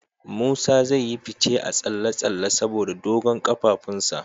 Musa zai yi fice a tsalle-tsalle saboda dogon kafafunsa.